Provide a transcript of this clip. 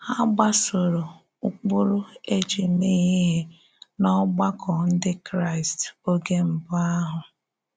Há gbàsòrò ụ́kpụrụ̀ e ji mèé íhè n’ọ̀gbàkọ̀ Ndị Kraịst ógè mbụ̀ àhụ̀?